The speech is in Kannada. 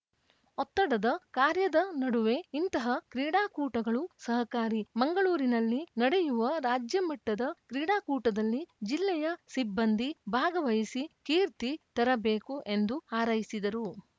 ಒತ್ತಡದ ಕಾರ್ಯದ ನಡುವೆ ಇಂತಹ ಕ್ರೀಡಾಕೂಟಗಳು ಸಹಕಾರಿ ಮಂಗಳೂರಿನಲ್ಲಿ ನಡೆಯುವ ರಾಜ್ಯಮಟ್ಟದ ಕ್ರೀಡಾಕೂಟದಲ್ಲಿ ಜಿಲ್ಲೆಯ ಸಿಬ್ಬಂದಿ ಭಾಗವಹಿಸಿ ಕೀರ್ತಿ ತರಬೇಕು ಎಂದು ಹಾರೈಸಿದರು